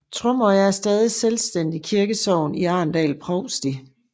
Tromøya er stadig et selvstændigt kirkesogn i Arendal provsti